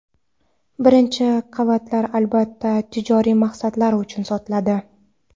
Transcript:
Birinchi qavatlar albatta tijoriy maqsadlar uchun sotiladi.